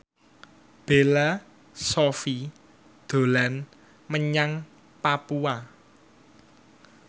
Bella Shofie dolan menyang Papua